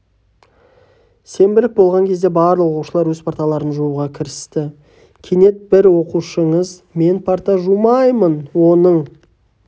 сенбілік болған кезде барлық оқушылар өз парталарын жууға кірісті кенет бір оқушыңыз мен парта жумаймын оның